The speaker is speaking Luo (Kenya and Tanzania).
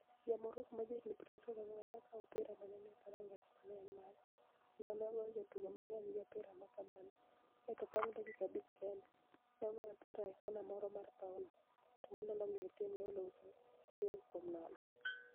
Ja - Morocco ma jahiginii 24 ni e okawo opira ma ni e nii e dhoranigach ma ni e eni mare kenido ni e ogoyo jotugo manig'eniy gi opira ma kamano, kae to banig ' dakika abich kenide, ni e ogoyo opira e konia moro mar pawno, to mano nomiyo timni e olocho 1-0.